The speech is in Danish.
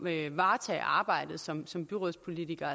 at varetage arbejdet som som byrådspolitiker